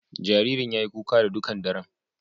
Jaririn ya yi kuka ta dukan daran.